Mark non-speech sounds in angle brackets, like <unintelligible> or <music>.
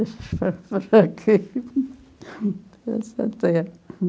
<unintelligible> para essa terra.